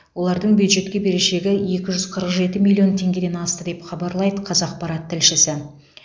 олардың бюджетке берешегі екі жүз қырық жеті миллион теңгеден асты деп хабарлайды қазақпарат тілшісі